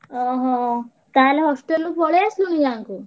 ଓହୋ! ତାହେଲେ hostel ରୁ ପଳେଈ ଆସିଲୁଣି ଗାଁକୁ?